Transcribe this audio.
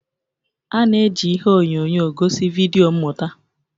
A na-eji ihe onyonyo gosi vidio mmụta.